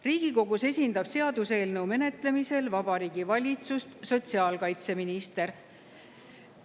Riigikogus esindab seaduseelnõu menetlemisel Vabariigi Valitsust sotsiaalkaitseminister.